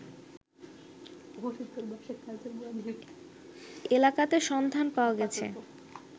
এলাকাতে সন্ধান পাওয়া গেছে